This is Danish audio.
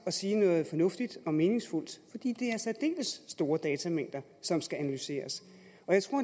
at sige noget fornuftigt og meningsfuldt fordi det faktisk er særdeles store datamængder som skal analyseres